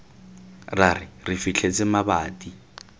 ra re re fitlhetse mabati